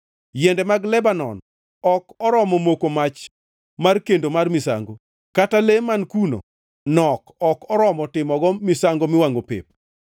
Yiende mag Lebanon ok oromo moko mach mar kendo mar misango, kata le man kuno nok ma ok oromo timogo misango miwangʼo pep.